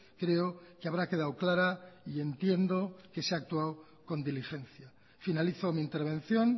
creo que habrá quedado clara y entiendo que se ha actuado con diligencia finalizo mi intervención